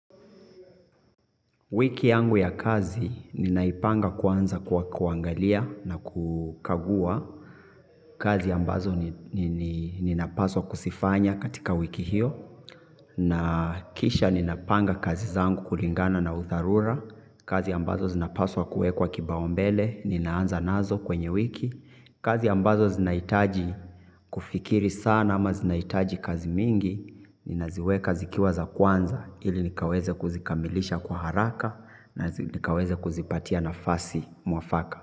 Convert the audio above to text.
Wiki yangu ya kazi ninaipanga kwanza kwa kuangalia na kukagua, kazi ambazo ninapaswa kuzifanya katika wiki hiyo na kisha ninapanga kazi zangu kulingana na udharura kazi ambazo zinapaswa kuwekwa kipaumbele ninaanza nazo kwenye wiki. Kazi ambazo zinahitaji kufikiri sana ama zinahitaji kazi mingi. Ninaziweka zikiwa za kwanza ili nikaweze kuzikamilisha kwa haraka na nikaweze kuzipatia nafasi mwafaka.